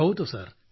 ಹೌದು ಸರ್